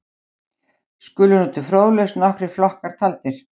skulu nú til fróðleiks nokkrir flokkar taldir